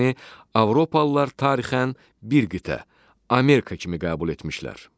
Avropalılar tarixin bir qitə Amerika kimi qəbul etmişlər.